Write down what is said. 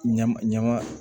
Ɲama ɲama